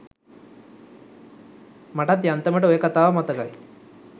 මටත් යාන්තමට ඔය කතාව මතකයි